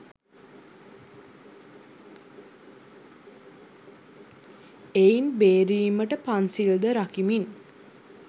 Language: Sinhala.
එයින් බේරීමට පන්සිල්ද රකිමින්